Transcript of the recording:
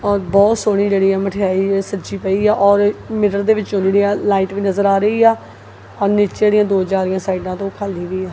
ਬਹੁਤ ਸੋਹਣੀ ਜਿਹੜੀ ਆ ਮਠਿਆਈ ਸੱਜੀ ਪਈ ਹੈ ਔਰ ਮਿਰਰ ਦੇ ਵਿਚੋਂ ਜਿਹੜੀ ਆ ਲਾਈਟ ਵੀ ਨਜ਼ਰ ਆ ਰਹੀ ਆ ਨੀਚੇ ਦੀਆਂ ਦੋ ਚਾਰੀਆਂ ਸਾਈਡਾਂ ਤੋਂ ਖਾਲੀ ਵੀ ਆ।